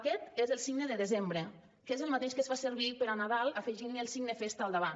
aquest és el signe de desembre que és el mateix que es fa servir per a nadal afegint li el signe festa al davant